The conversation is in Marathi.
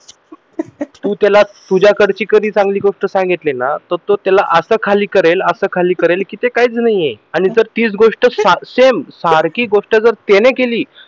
तू त्याला तुझ्याकडची अशी कोणती गोष्ट सांगितली ना कि तो त्याला असं खाली करेल असं खाली करेल कि ते काहीच नाहीये आणि तीच गोष्ट जर सारखी same तीच गोष्ट जर सारखी गोष्ट जर त्याने केली